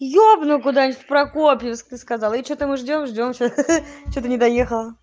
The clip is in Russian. ёбну куда-нибудь в прокопьевск ты сказал и что-то мы ждём ждём ха-ха что-то не доехала